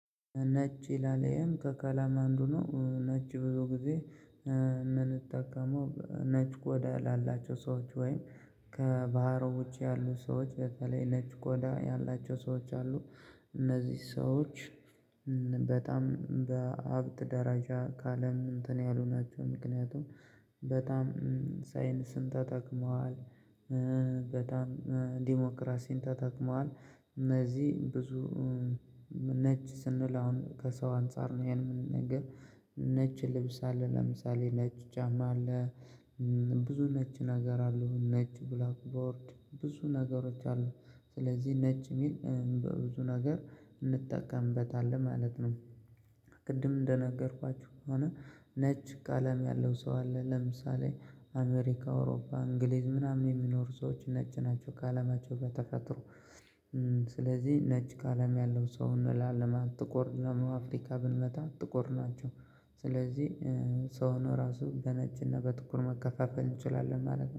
ነጭ ይላል ይሄም ከቀለም አንዱ ነው ነጭ ብዙ ጊዜ ምንጠቀመው ነጭ ቆዳ ላላቸው ሰዎች ወይም ከባህር ውጪ ያሉ ሰዎች በተለይ ነጭ ቆዳ ያላቸው ሰዎች አሉ። እነዚህ ሰዎች በጣም በሀብት ደረጃ ከአለም እንትን ያሉ ናቸው። ምክንያቱም በጣም ሳይንስን ተጠቅመዋል። በጣም ዲሞክራሲን ተጠቅመዋል። እነዚህ ብዙ ነጭ ስንል አሁን ከሰው አንፃር ነው የምንናገር ነጭ ልብስ አለ ለምሳሌ ነች ጫማ አለ ብዙ ነጭ ነገር አለው ነጭ ብላክ ቦርድ ብዙ ነገሮች አሉ። ስለዚህ ነጭ የሚል በብዙ ነገር እንጠቀምበታለን ማለት ነው። ቅድም እንደነገርኳችሁ ከሆነ ነጭ ቀለም ያለው ሰው አለ። ለምሳሌ አሜሪካ፣ አውሮፓ፣ እንግሊዝ ምናምን የሚኖሩ ሰዎች ነጭ ናቸው ቀለማቸው በተፈጥሮ ስለዚህ ነጭ ቀለም ያለው ሰው እንላለን ማለት ነው። ጥቁር ደሞ አፍሪካ ብንመጣ ጥቁር ናቸው። ስለዚህ ሰው ሆኖ ራሱ በነጭና በጥቁር መከፋፈል እንችላለን ማለት ነው።